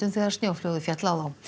þegar snjóflóðið féll á